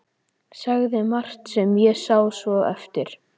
Sagði margt sem ég sá svo eftir.